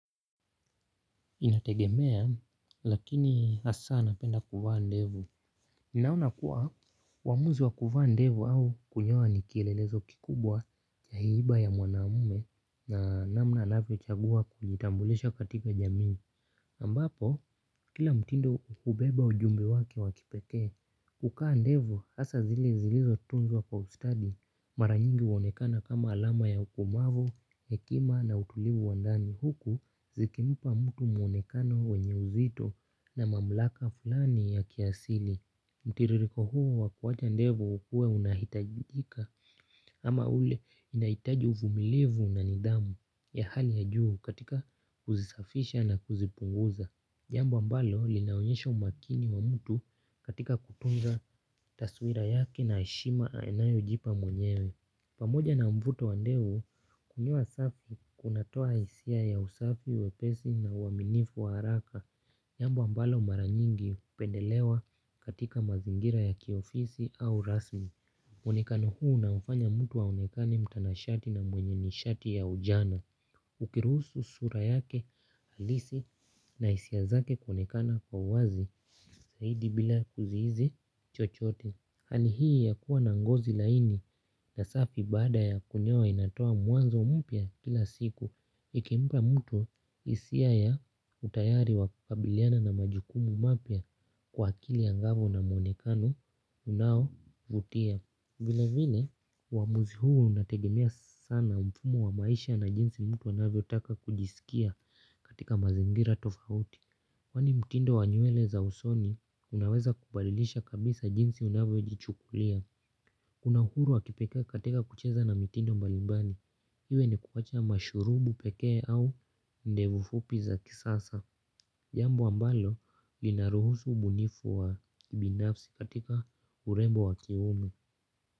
Inategemea, lakini hasa napenda kuvaa ndevu. Ninaona kuwa, uamuzi wa kuvaa ndevu au kunyoa ni kielelezo kikubwa cha hiba ya mwanamume na namna anavyochagua kujitambulisha katika jamii. Ambapo, kila mtindo hubeba ujumbe wake wa kipekee, kukaa ndevu hasa zile zilizotunzwa kwa ustadi mara nyingi huonekana kama alama ya ukomavu, hekima na utulivu wa ndani huku zikimpa mtu muonekano wenye uzito na mamlaka fulani ya kiasili. Mtiririko huu wa kuwacha ndevu huwa unahitajika ama ule inahitaji uvumilivu na nidhamu ya hali ya juu katika kuzisafisha na kuzipunguza. Jambo ambalo linaonyesha umakini wa mtu katika kutunza taswira yake na heshima anayojipa mwenyewe pamoja na mvuto wa ndevu kunyoa safi kunatoa hisia ya usafi wepesi na uaminifu wa haraka jambo ambalo mara nyingi hupendelewa katika mazingira ya kiofisi au rasmi. Uonekano huu unamfanya mtu aonekane mtanashati na mwenye nishati ya ujana. Ukiruhusu sura yake halisi na hisia zake kuonekana kwa wazi zaidi bila kuzihisi chochote. Hali hii ya kuwa na ngozi laini na safi baada ya kunyoa inatoa mwanzo mpya kila siku. Ikimpa mtu hisia ya utayari wa kukabiliana na majukumu mapya kwa akili angavu na mwonekano unaovutia vila vile uamuzi huu unategemea sana mfumo wa maisha na jinsi mtu anavyotaka kujisikia katika mazingira tofauti kwani mtindo wa nywele za usoni unaweza kubadilisha kabisa jinsi unavyojichukulia. Kuna uhuru wa kipekee katika kucheza na mitindo mbalimbali. Iwe ni kuwacha mashurubu pekee au ndevu fupi za kisasa. Jambo ambalo linaruhusu ubunifu wa kibinafsi katika urembo wa kiumu.